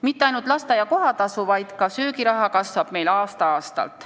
Mitte ainult lasteaia kohatasu, vaid ka söögiraha kasvab meil aasta-aastalt.